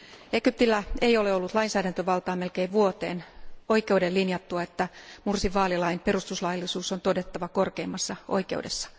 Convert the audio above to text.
Egyptillä ei ole ollut lainsäädäntövaltaa melkein vuoteen oikeuden linjattua, että Mursin vaalilain perustuslaillisuus on todettava korkeimmassa oikeudessa.